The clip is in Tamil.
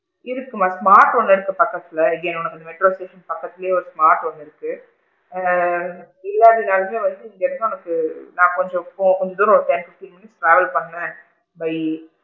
இருக்குமா smart ஒன்னு இருக்கு பக்கத்துல again உனக்கு metro க்கு பக்கத்துலையே smart ஒன்னு இருக்கு ஆ இல்லாட்டி நாளுமே வந்து இங்க இருந்து உனக்கு நான் கொஞ்சம் கொஞ்ச தூரம் ஒரு ten minutes travel பண்ணேன் by,